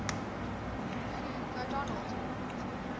hugh o donel